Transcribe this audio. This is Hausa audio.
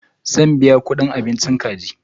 Zan biya kuɗin abinchi kaji.